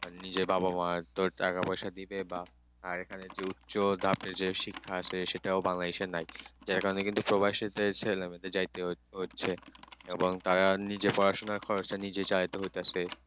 টাকা পয়সা দিবে বা আর এখানে যে উচ্চতাপে যে শিক্ষা Bangladesh নাই যে জন্য কিন্তু প্রবাসে ছেলেমেয়েদের যাইতে হচ্ছে এবং তারা নিজের বাসনা খরচ নিজেই চালাতে হচ্ছে